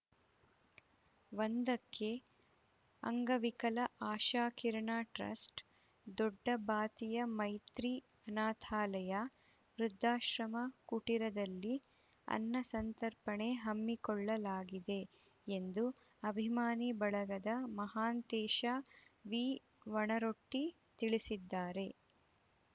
ಒಂದಕ್ಕೆ ಅಂಗವಿಕಲ ಆಶಾಕಿರಣ ಟ್ರಸ್ಟ್‌ ದೊಡ್ಡಬಾತಿಯ ಮೈತ್ರಿ ಅನಾಥಾಲಯ ವೃದ್ಧಾಶ್ರಮ ಕುಟಿರದಲ್ಲಿ ಅನ್ನಸಂತರ್ಪಣೆ ಹಮ್ಮಿಕೊಳ್ಳಲಾಗಿದೆ ಎಂದು ಅಭಿಮಾನಿ ಬಳಗದ ಮಹಾಂತೇಶ ವಿಒಣರೊಟ್ಟಿ ತಿಳಿಸಿದ್ದಾರೆ